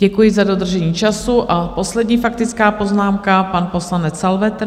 Děkuji za dodržení času a poslední faktická poznámka - pan poslanec Salvetr.